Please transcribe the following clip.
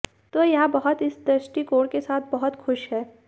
तो यह बहुत इस दृष्टिकोण के साथ बहुत खुश है